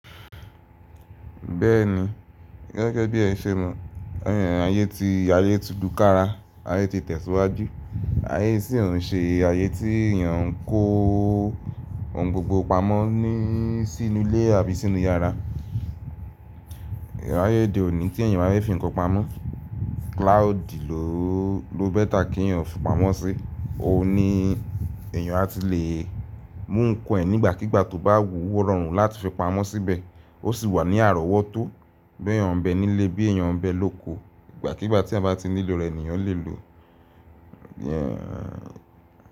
Bẹ́ẹ̀ni, gẹ́gẹ́ bí ẹ ń ṣe mọ, ayé ti, ayé ti lukára, ayé ti tẹ̀síwájú, ayé isìn òún ṣe ayé tí èèyàn ń kó ohun gbogbo pamọ́ sínú ilé àbí sínú yàrá. Ayé òde òní tí èèyàn máa fi nǹkan pamọ́, cloud i ló bẹ́ta kí èèyàn fi pamọ́ sí i, òun ni èèyàn a ti le mú nǹkan ẹ nígbàkígbà tó bá wú o rọrùn láti fi pamọ́ síbẹ̀. Ó sì wà ní àrọ́wọ́tó bí èèyàn bẹ nílé bí èèyàn bẹ lóko, ìgbàkígbà tí ẹ́eyan bá ti nílò rẹ̀ ni yàn lè lòó.